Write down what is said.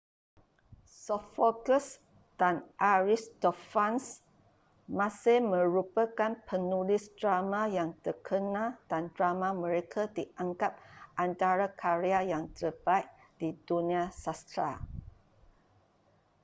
sophocles dan aristophanes masih merupakan penulis drama yang terkenal dan drama mereka dianggap antara karya yang terbaik di dunia sastera